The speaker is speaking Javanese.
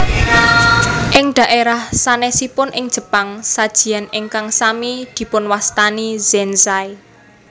Ing dhaérah sanèsipun ing Jepang sajian ingkang sami dipunwastani zenzai